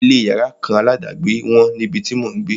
Ilé yàrá kan aládàgbé wọ́n níbi tí mò ń gbé.